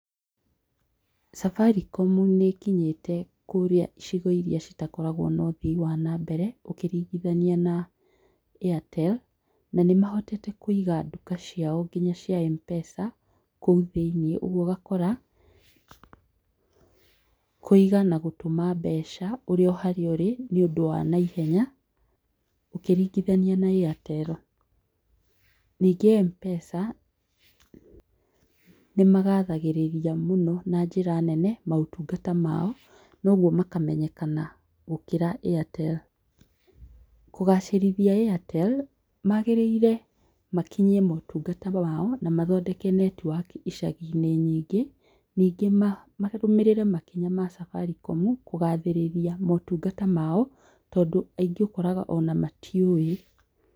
Safaricom nĩ ĩkinyĩte kũrĩa icigo-inĩ iria citakoragwo na ũthii wa nambere ũkiringithania na Airtel, na nĩ mahotete kũiga nduka ciao nginya cia M-Pesa, kũu thĩiniĩ. Ũguo ũgakora kũiga na gũtũma mbeca ũrĩ o harĩa ũrĩ nĩ ũndũ wa naihenya, ũkiringithania na Airtel. Ningĩ M-Pesa, nĩ magathagĩrĩria mũno na njĩra nene maũtungata mao, na ũguo makamenyekana gũkĩra Airtel. Kũgacĩrithia Airtel, maagĩrĩire makinyie maũtungata mao, na mathondeke network icagi-inĩ nyingĩ. Ningĩ marũmĩrĩre makinya ma Safaricom kũgathĩrĩria maũtungata mao, tondũ aingĩ ũkoraga o na matiũĩ.